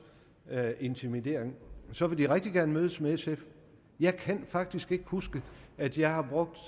intimidering så vil de rigtig gerne mødes med sf jeg kan faktisk ikke huske at jeg har brugt